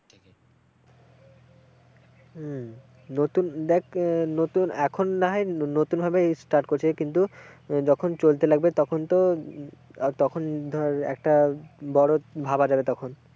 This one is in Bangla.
হম নতুন দেখ নতুন এখন না হয় নতুন ভাবে start করছি কিন্তু যখন চলতে লাগবে তখন তো আর তখন ধর একটা বড়ো ভাবা যাবে তখন।